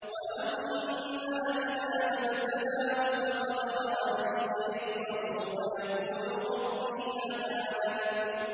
وَأَمَّا إِذَا مَا ابْتَلَاهُ فَقَدَرَ عَلَيْهِ رِزْقَهُ فَيَقُولُ رَبِّي أَهَانَنِ